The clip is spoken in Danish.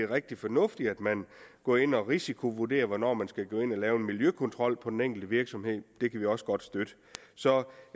rigtig fornuftigt at man går ind og risikovurderer hvornår man skal gå ind og lave en miljøkontrol på den enkelte virksomhed det kan vi også godt støtte så